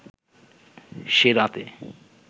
সে রাতে